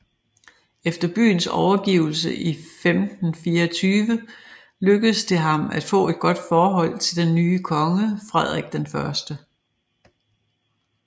Efter byens overgivelse i 1524 lykkedes det ham at få et godt forhold til den nye konge Frederik I